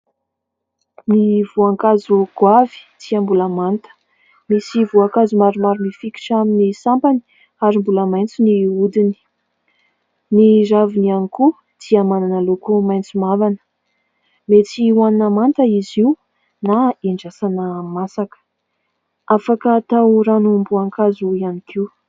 Ny voankazo goavy dia mbola manta. Misy voankazo maromaro mifikitra amin'ny sampany ary mbola maitso ny hodiny. Ny raviny ihany koa dia manana loko maitso mavana. Mety ho hanina manta izy io na handrasana masaka, afaka atao ranom-boankazo ihany koa.